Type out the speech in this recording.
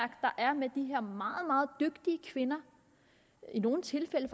er meget meget dygtige kvinder i nogle tilfælde